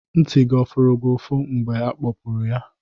Ntị gị ọ furu gị ufu mgbe ị kpọpụrụ ya?